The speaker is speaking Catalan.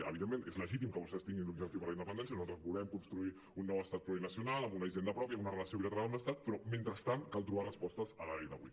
evidentment és legítim que vostès tinguin l’objectiu per la independència nosaltres volem construir un nou estat plurinacional amb una hisenda pròpia amb una relació bilateral amb l’estat però mentrestant cal trobar respostes a dia d’avui